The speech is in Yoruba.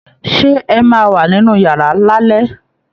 Ṣé ẹ máa wà nínú yàrá lálẹ́?